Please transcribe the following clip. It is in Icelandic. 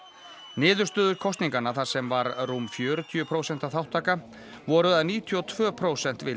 niðurstöður kosninganna þar sem var rúm fjörutíu prósenta þátttaka voru að níutíu og tvö prósent vildu